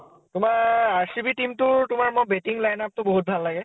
তোমাৰ RCB team তোৰ batting line up তো মোৰ বহুত ভাল লাগে